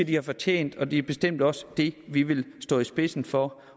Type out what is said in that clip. de har fortjent og det er bestemt også det vi vil stå i spidsen for